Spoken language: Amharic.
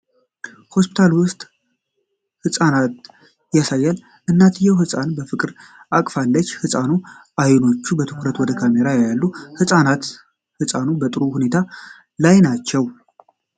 ሆስፒታል ውስጥ እናትና ሕፃን ያሳያል። እናትየው ሕፃኗን በፍቅር አቅፋለች። የሕፃኑ አይኖች በትኩረት ወደ ካሜራ ያያሉ። እናትና ሕፃኗ በጥሩ ሁኔታ ላይ ናቸው?